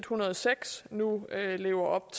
hundrede og seks nu lever op